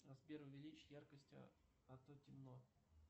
сбер увеличь яркость а то темно